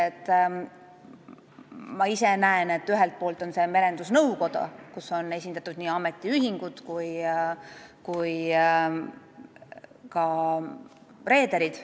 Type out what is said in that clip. Ma ise näen, et ühelt poolt on see Merendusnõukoda, kus on esindatud nii ametiühingud kui ka reederid.